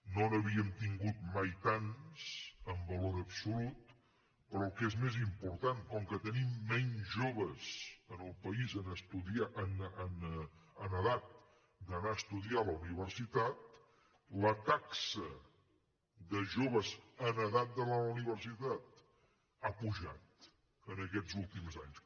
no n’havíem tingut mai tants en valor absolut però el que és més important com que tenim menys joves en el país en edat d’anar a estudiar a la universitat la taxa de joves en edat d’anar a la universitat ha pujat en aquests últims anys